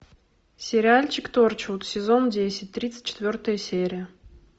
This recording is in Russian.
сериальчик торчвуд сезон десять тридцать четвертая серия